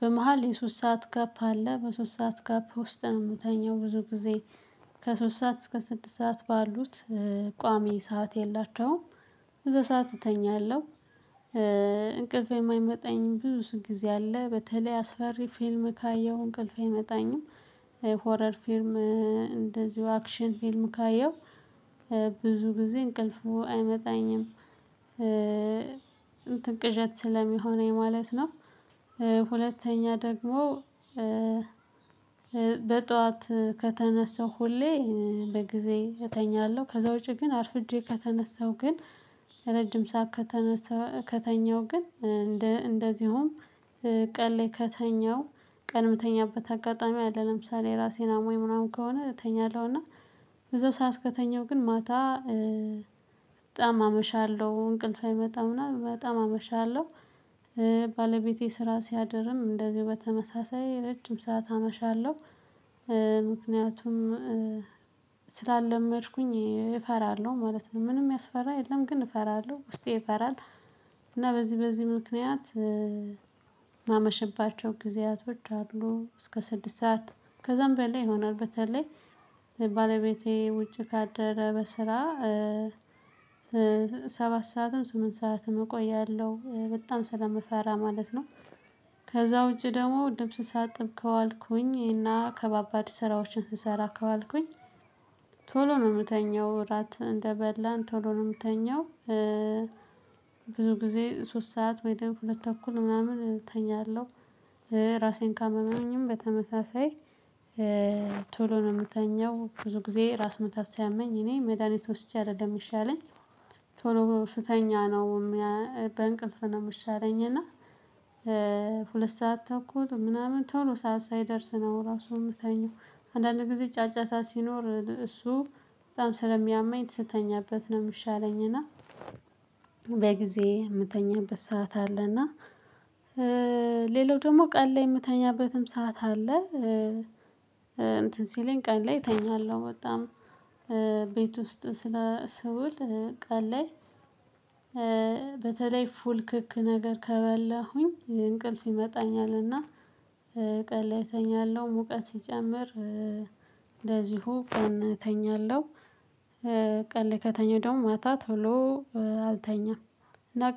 በመሃል የሶስት ሰዓት ጋፕ አለ በሶስት ሰዓት ጋፕ ውስጥ ነው ምተኛው። ብዙ ጊዜ ከሶስት ሰዓት እስከ ስድስት ሰዓት ባሉት ቋሚ ሰዓት የላቸውም እዛ ሰዓት እተኛለሁ። እንቅልፌ የማይመጣኝ ብዙ ጊዜ አለ በተለይ አስፈሪ ፊልም ካየሁ እንቅልፌ አይመጣኝም። ሆረር ፊልም እንደዚሁ አክሽን ፊልም ካየው ብዙ ጊዜ እንቅልፉ አይመጣኝም። እንትን ቅዠት ስለሚሆነኝ ማለት ነው። ሁለተኛ ደግሞ በጧት ከተነሳሁ ሁሌ በጊዜ እተኛለሁ ከዛ ውጪ ግን አርፍጄ ከተነሳው ግን ረጅም ሰዓት ከተነሳው ከተኛው ግን እንደ እንደዚሁም ቀን ላይ ከተኛው ቀን ምተኛበት አጋጣሚ አለ። ለምሳሌ ራሴን አሞኝ ምናምን ከሆነ እተኛለሁ እና በዛ ሰዓት ከተኛሁ ግን ማታ በጣም አመሻለሁ እንቅልፌ አይመጣም እና በጣም አመሻለሁ። ባለቤቴ ስራ ሲያድርም እንደዚሁ በተመሳሳይ ረጅም ሰዓት አመሻለሁ። ምክንያቱም ስላልለመድኩኝ እፈራለሁ ማለት ነው። ምንም ሚያስፈራ የለም ግን እፈራለሁ ውስጤ ይፈራል። እና በዚህ በዚህ ምክንያት ማመሸባቸው ጊዜያቶች አሉ እስከ ስድስት ሰዓት ከዛም በላይ ይሆናል በተለይ ባለቤቴ ውጪ ካደረ በስራ። ሰባት ሰዓትም ስምንት ሰዓትም እቆያለሁ በጣም ስለምፈራ ማለት ነው። ከዛ ውጪ ደግሞ ልብስ ሳጥብ ከዋልኩኝ እና ከባባድ ስራዎችን ስሰራ ከዋልኩኝ ቶሎ ነው ምተኛው እራት እንደበላን ቶሎ ነው ምተኛው። ብዙ ጊዜ ሶስት ሰዓት ወይ ደግሞ ሁለት ተኩል ምናምን እተኛለሁ። ራሴን ካመመኝም በተመሳሳይ ቶሎ ነው ምተኛው ብዙ ጊዜ ራስ ምታት ሲያመኝ እኔ መድሃኒት ወስጄ አይደለም ሚሻለኝ። ቶሎ ስተኛ ነው። በእንቅልፍ ነው ምሻለኝ እና ሁለት ሰዓት ተኩል ምናምን ቶሎ ሰዓት ሳይደርስ ነው ራሱ እምተኛው። አንዳንድ ጊዜ ጫጫታ ሲኖር እሱ በጣም ስለሚያመኝ ስተኛበት ነው እሚሻለኝ። እና በጊዜ የምተኛበት ሰዓት አለ። እና ሌላው ደግሞ ቀን ላይ እምተኛበትም ሰዓት አለ። እንትን ሲለኝ ቃን ላይ እተኛለሁ በጣም ቤት ውስጥ ስለ ስውል ቀን ላይ በተለይ ፉል ክክ ነገር ከበላሁኝ እንቅልፍ ይመጣኛል። እና ቀን ላይ እተኛለሁ ሙቀት ሲጨምር እንደዚሁ ቀን እተኛለሁ። ቀን ላይ ከተኛው ደግሞ ማታ ቶሎ አልተኛም እና